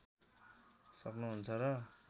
सक्नु हुन्छ र